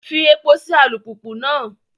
Fí èpo sí alupupu náà!